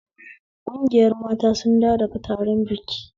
Kungiyar mata sun dawo daga taron biki